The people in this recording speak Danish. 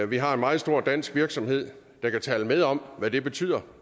vi har en meget stor dansk virksomhed der kan tale med om hvad det betyder